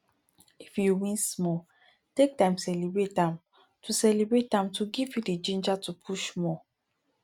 if you win small take time celebrate am to celebrate am to fit give you ginger to push more